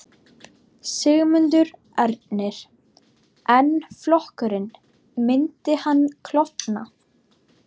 Sigmundur Ernir: En flokkurinn, myndi hann klofna?